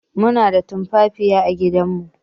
Muna da tumfafiya à gidan mu